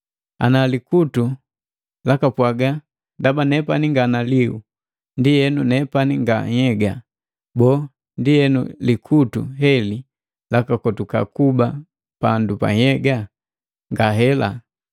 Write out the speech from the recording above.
Ana likutu elakapwajiki, “Ndaba nepani nga naliu, ndienu nepani nga nhyega,” Boo, ndienu likutu heli lakakotuka kuba pandu ja nhyega? Ngahela!